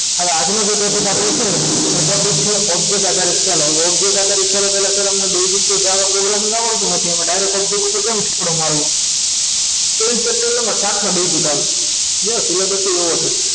હવે આજનો આપણો topic એ છે આધારિત ચાલો હવે object આધારિત શીખે તે પહેલા શરમ નો basic જાવા programming આવડતું હતું એમાં direct object બનાવતા તેવીશ chapter માંથી સાતમામાં basic આવશે બસ એના પછી એવું હશે